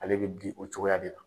Ale bɛ di o cogoya de la.